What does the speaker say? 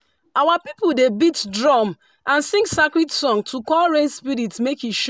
our people dey beat drum and sing sacred song to call rain spirit make e